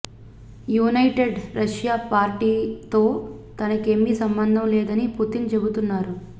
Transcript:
యునై Ted Russia పార్టీతో తనకేమీ సంబంధం లేదని పుతిన్ చెబుతున్నారు